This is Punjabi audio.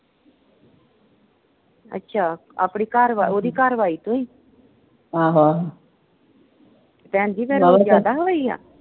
ਅੱਛਾ, ਆਪਣੀ ਘਰਵਾਲੀ ਓਹਦੀ ਘਰਵਾਲੀ ਤੋਂ ਹੀ। ਭੈਣ ਜੀ ਫੇਰ ਜਿਆਦਾ ਹੋਈ ਆ?